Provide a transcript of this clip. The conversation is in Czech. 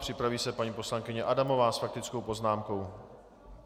Připraví se paní poslankyně Adamová s faktickou poznámkou.